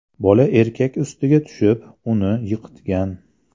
Bola erkak ustiga tushib, uni yiqitgan.